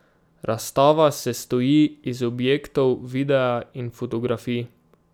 Razstava sestoji iz objektov, videa in fotografij.